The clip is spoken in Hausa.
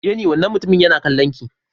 Jenny wannan mutumin yana kallon ki.